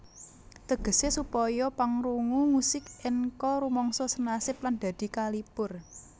Tegese supaya pangrungu musik enka rumangsa senasib lan dadi kalipur